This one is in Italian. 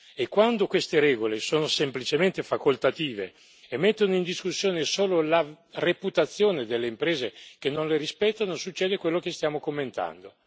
E quando queste regole sono semplicemente facoltative e mettono in discussione solo la reputazione delle imprese che non le rispettano, succede quello che stiamo commentando.